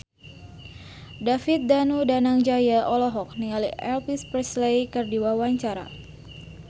David Danu Danangjaya olohok ningali Elvis Presley keur diwawancara